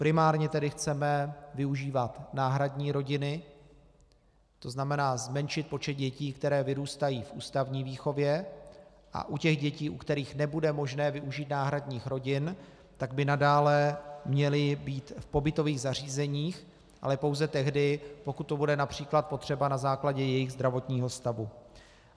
Primárně tedy chceme využívat náhradní rodiny, to znamená zmenšit počet dětí, které vyrůstají v ústavní výchově, a u těch dětí, u kterých nebude možné využít náhradních rodin, tak by nadále měly být v pobytových zařízeních, ale pouze tehdy, pokud to bude například potřeba na základě jejich zdravotního stavu.